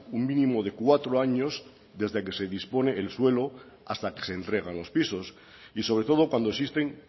un mínimo de cuatro años desde que se dispone el suelo hasta que se entregan los pisos y sobre todo cuando existen